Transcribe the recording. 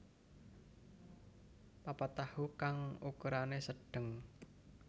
papat tahu kang ukurane sedeng